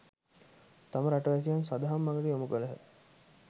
තම රටවැසියන් සදහම් මගට යොමු කළහ.